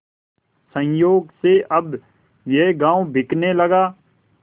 संयोग से अब यह गॉँव बिकने लगा